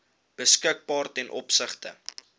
beskikbaar ten opsigte